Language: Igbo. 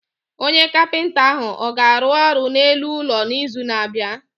Onye kapinta ahụ ọ ga-arụ ọrụ n'elu ụlọ n'izu na-abịa?